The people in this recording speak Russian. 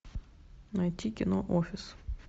найти кино офис